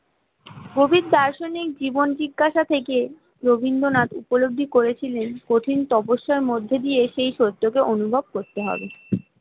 কবি দার্শনিক জীবন জিজ্ঞাসা থেকে রবীন্দ্রনাথ উপলব্ধি করেছিলেন কঠিন তপস্যার মধ্যে দিয়ে সেই সত্যকে অনুভব করতে হবে